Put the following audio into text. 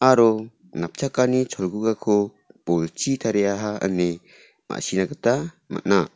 aro napchakani cholgugako bolchi tariaha ine ma·sina gita man·a.